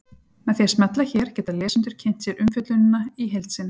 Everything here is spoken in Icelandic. Með því að smella hér geta lesendur kynnt sér umfjöllunina í heild sinni.